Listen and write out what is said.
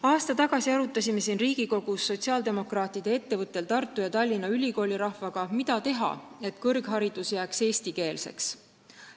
Aasta tagasi arutasime siin Riigikogus sotsiaaldemokraatide eestvõttel Tartu ja Tallinna ülikoolirahvaga, mida teha, et kõrgharidus jääks eestikeelseks.